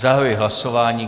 Zahajuji hlasování.